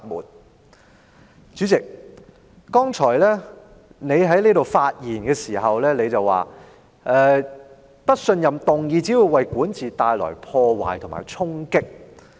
代理主席，你剛才發言時說，不信任議案只會為管治帶來破壞及衝擊。